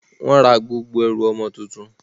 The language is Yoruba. Wọ́n ra gbogbo ẹrù ọmọ tuntun.